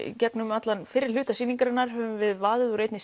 í gegnum fyrri hluta sýningarinnar höfum vaðið úr einni